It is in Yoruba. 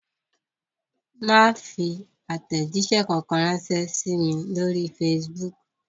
Má fi àtẹ̀jíṣẹ́ kankan ránṣẹ́ sí mi lórí Facebook